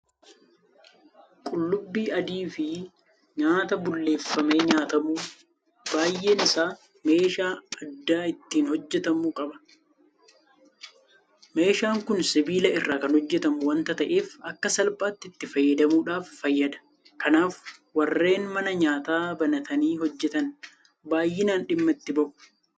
Qullubbii adiifi nyaata bulleeffamee nyaatamu baay'een isaa meeshaa addaa ittiin hojjetamu qaba. Meeshaan kun sibiila irraa kan hojjetamu waanta ta'eef akka salphaatti itti fayyadamuudhaaf fayyada. Kanaaf warreen mana nyaataa banatanii hojjetan baay'inaan dhimma itti ba'u.